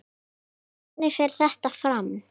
En hvernig fer þetta fram?